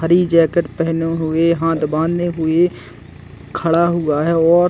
हरी jacket पहने हुए हाथ बांधे हुए खड़ा हुआ हैऔर --